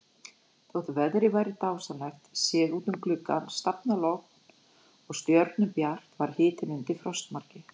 Þótt veðrið væri dásamlegt, séð út um glugga, stafalogn og stjörnubjart, var hitinn undir frostmarki.